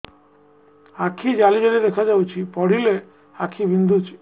ଆଖି ଜାଲି ଜାଲି ଦେଖାଯାଉଛି ପଢିଲେ ଆଖି ବିନ୍ଧୁଛି